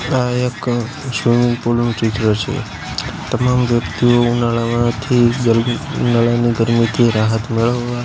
આ એક swimming pool નું ચિત્ર છે તમામ વ્યક્તિઓ ઉનાળામાંથી ગરમ ઉનાળાની ગરમીથી રાહત મેળવવા--